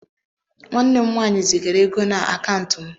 Nwanne m nwanyị zigara ego na akaụntụ m.